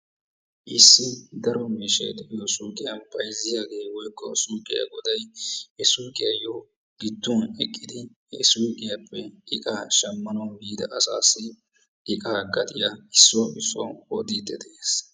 issi daro miishshay de'iyo suyqqiya bayzziyagee woykko suyqqiya goday he suyqqiyayyo gidduwan eqqidi he suyqqiyappe iqqaa shammana biida asassi iqqaa gatiya issuwa issuwa odidde de'ees.